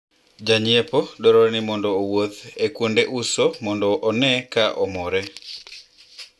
Janyiepo dwarore ni mondo owuoth e kuonde uso mondo one ka omore